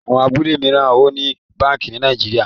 Àwọn abúlé míràn o ní bánkì ní Nàìjíríà.